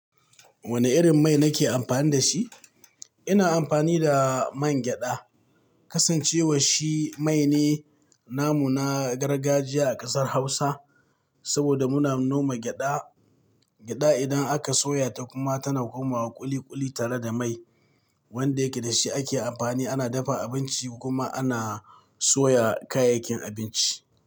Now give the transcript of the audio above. Wane irin mai nake amfani da shi? Ina amfani da man gyada. Kasancewa shi mai ne namu na gargajiya a kasar Hausa. Saboda muna noma gyaɗa. Gyaɗa idan aka soya ta kuma tana komawa ƙuli ƙuli tare da mai wanda yake da shi ake amfani ana dafa abinci kuma ana soya kayayyakin abinci.